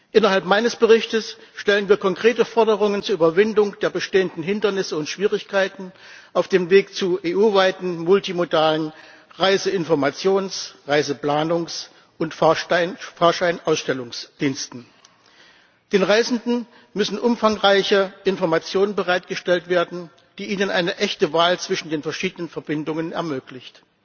Innerhalb meines Berichtes stellen wir konkrete Forderungen zur Überwindung der bestehenden Hindernisse und Schwierigkeiten auf dem Weg zu EU weiten multimodalen Reiseinformations Reiseplanungs und Fahrscheinausstellungsdiensten. Den Reisenden müssen umfangreiche Informationen bereitgestellt werden, die ihnen eine echte Wahl zwischen den verschiedenen Verbindungen ermöglichen.